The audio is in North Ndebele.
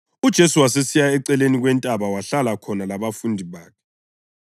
UJesu wasesiya eceleni kwentaba wahlala khona labafundi bakhe.